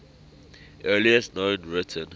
earliest known written